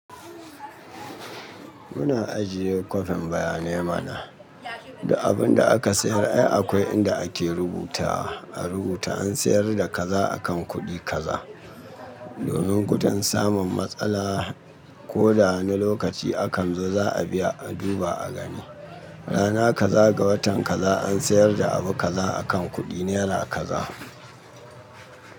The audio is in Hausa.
Muna ajiye kwafin bayanai mana. Duk abun da aka sayar ai akwai inda ake rubuta, a rubuta an sayar da kaza akan kuɗi kaza. Donin gudan samun matsala ko da wani lokaci akan zo za a biya a duba a gani. Rana kaza ga watan kaza an sayar da abu kaza akan kuɗi nera kaza.